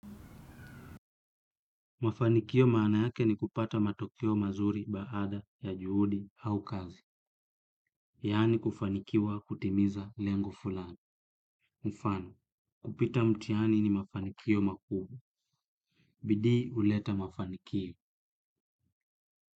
Mafanikio maana yake ni kupata matokeo mazuri baada ya juhudi au kazi. Yani kufanikiwa kutimiza leng fulani. Mfano, kupita mtihani ni mafanikio makuu. Bidii huleta mafanikio.